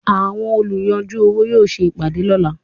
Àwọn olùyanjú owó yóò ṣe ìpàdé lọ́la.